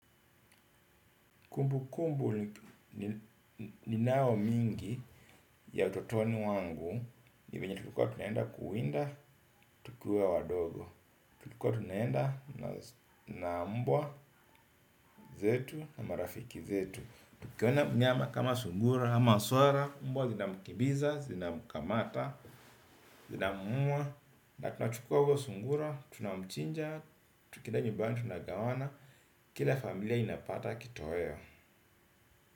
Kumbukumbu ninao mingi ya utotoni wangu. Ni venye tulikua tunaenda kuwinda tukiwa wadogo. Tulikua tunaenda na mbwa zetu na marafiki zetu. Tukiona mnyama kama sungura, ama swara mbwa zinamkibiza, zinamkamata, zinammuwa. Na tunachukua huyo sungura, tunamchinja, tukieda nyubani tunagawana. Kila familia inapata kitoweo.